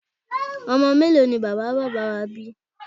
Ọmọ mélòó ni bàbá bàbá wá bí?